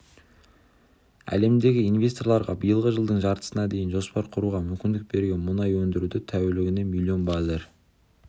әлемдегі инвесторларға биылғы жылдың жартысына дейін жоспар құруға мүмкіндік берген мұнай өндіруді тәулігіне млн баррель